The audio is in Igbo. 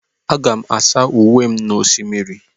Aga m asa uwe m n'osimiri.